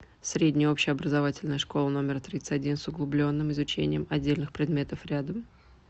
средняя общеобразовательная школа номер тридцать один с углубленным изучением отдельных предметов рядом